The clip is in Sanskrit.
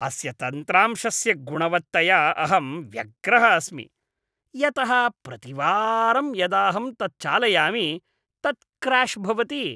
अस्य तन्त्रांशस्य गुणवत्तया अहं व्यग्रः अस्मि यतः प्रतिवारं यदाहं तत् चालयामि तत् क्र्याश् भवति।